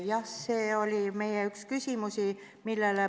Jah, see oli üks meie küsimusi.